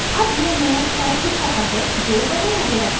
अब यह नया स्टाइल दिखाता है जो बनाया गया था